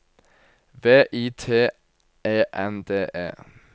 V I T E N D E